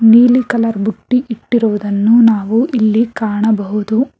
ನೀಲಿ ಕಲರ್ ಬುಟ್ಟಿ ಇಟ್ಟಿರುವುದನ್ನು ಇಲ್ಲಿ ನಾವು ಕಾಣಬಹುದು.